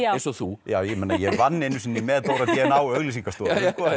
eins og þú ég vann einu sinni með Dóra d n a á auglýsingastofu